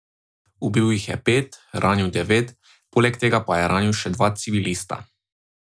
Ubil jih je pet, ranil devet, poleg tega pa je ranil še dva civilista.